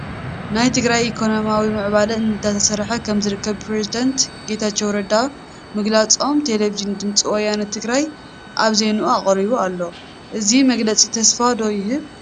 ናይ ትግራይ ኢኮነሚ ንምዕባይ እንዳተሰርሐ ከምዝርከብ ፕሬዝዳንት ጌታቸው ረዳ ምግላፆም ቴለብዥን ድምፂ ወያነ ትግራይ ኣብ ዜንኡ ኣቕሪቡ ኣሎ፡፡ እዚ መግለፂ ተሰፋ ዶ ይህብ?